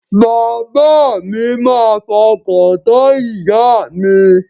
Bàbá mi máa fọkàntán ìyà mi.